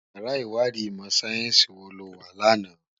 Iyàrá Iwàdí imò sáyènsí wó lò wá làná?